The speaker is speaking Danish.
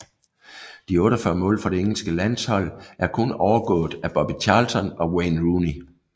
De 48 mål for det engelske landshold er kun overgået af Bobby Charlton og Wayne Rooney